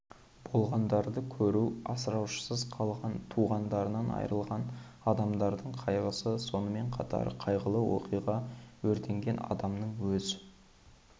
болғандарды көру асыраушысыз қалған туғандарынан айырылған адамдардың қайғысы сонымен қатар қайғылы оқиға өртенген адамның өз